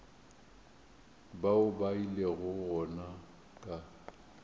bao ba ilego gona ka